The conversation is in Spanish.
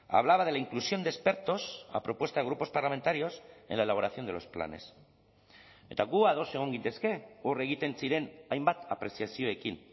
hablaba de la inclusión de expertos a propuesta de grupos parlamentarios en la elaboración de los planes eta gu ados egon gintezke hor egiten ziren hainbat apreziazioekin